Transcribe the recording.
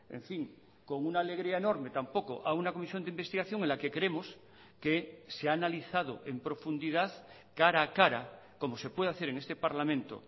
en fin con una alegría enorme tampoco a una comisión de investigación en la que creemos que se ha analizado en profundidad cara a cara como se puede hacer en este parlamento